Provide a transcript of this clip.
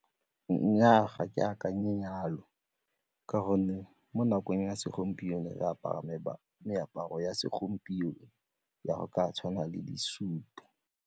Nnyaa, ga ke akanye jalo ka gonne mo nakong ya segompieno re apara meaparo ya segompieno ya go ka tshwana le disutu.